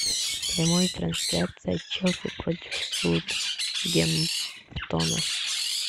прямая трансляция челси против саутгемптона